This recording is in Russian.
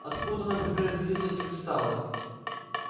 откуда например взялись эти кристаллы